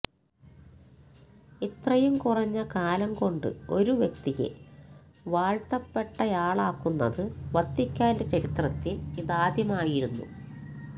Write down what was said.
ഇത്രയും കുറഞ്ഞ കാലം കൊണ്ട് ഒരു വ്യക്തിയെ വാഴ്ത്തപ്പെട്ടയാളാക്കുന്നത് വത്തിക്കാന്റെ ചരിത്രത്തില് ഇതാദ്യമായായിരുന്നു